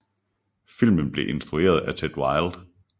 Filmen blev instrueret af Ted Wilde